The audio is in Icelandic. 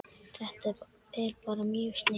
Þetta er bara mjög sniðugt